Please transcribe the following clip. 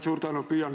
Suur tänu!